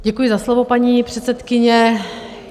Děkuji za slovo, paní předsedkyně.